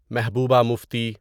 Mehbooba Mufti